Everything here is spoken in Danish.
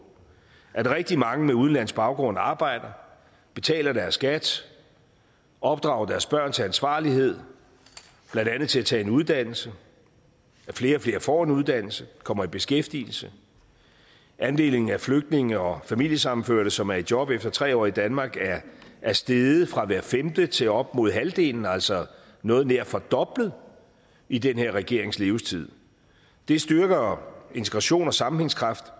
at rigtig mange med udenlandsk baggrund arbejder betaler deres skat opdrager deres børn til ansvarlighed blandt andet til at tage en uddannelse at flere og flere får en uddannelse kommer i beskæftigelse andelen af flygtninge og familiesammenførte som er i job efter tre år i danmark er steget fra hver femte til op imod halvdelen altså noget nær fordoblet i den her regerings levetid det styrker integration og sammenhængskraft